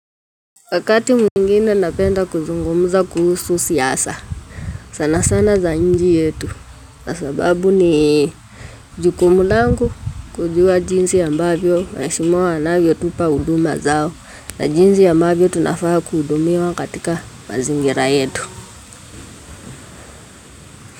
Wakati mwengine napenda kuzungumza kuhusu siasa sana sana za nji yetu. Na sababu ni jukumu langu kujua jinsi ambavyo. Waheshimiwa wanavyotupa huduma zao. Na jinzi ambavyo tunafaa kuhudumiwa katika mazingira yetu.